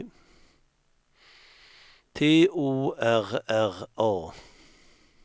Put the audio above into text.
T O R R A